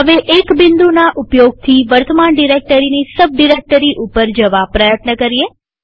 હવે એક બિંદુના ઉપયોગથી વર્તમાન ડિરેક્ટરીની સબ ડિરેક્ટરી ઉપર જવા પ્રયત્ન કરીએ